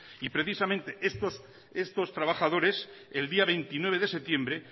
y precisamente estos trabajadores el día veintinueve de septiembre